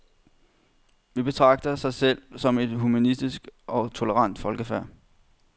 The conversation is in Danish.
Vi betragter sig selv som et humanistisk og tolerant folkefærd.